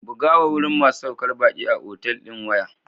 Bugawa wurin masu saukar baki a otal ɗin waya.